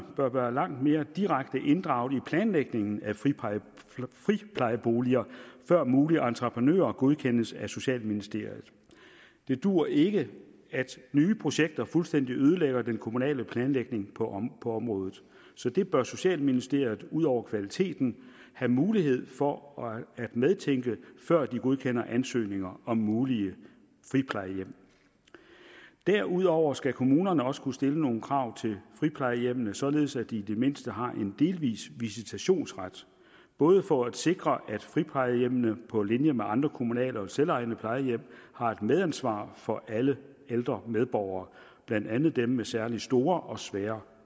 bør være langt mere direkte inddraget i planlægningen af friplejeboliger før mulige entreprenører godkendes af socialministeriet det duer ikke at nye projekter fuldstændig ødelægger den kommunale planlægning på området så det bør socialministeriet ud over kvaliteten have mulighed for at medtænke før de godkender ansøgninger om mulige friplejehjem derudover skal kommunerne også kunne stille nogle krav til friplejehjemmene således at de i det mindste har en delvis visitationsret både for at sikre at friplejehjemmene på linje med andre kommunale og selvejende plejehjem har et medansvar for alle ældre medborgere blandt andet dem med særlig store og svære